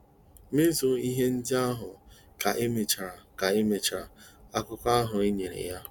Mezue ihe ndị a ka emechara ka emechara akụkụ ahụ enyere ya.